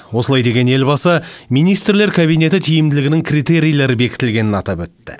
осылай деген елбасы министрлер кабинеті тиімділігінің критерийлері бекітілгенін атап өтті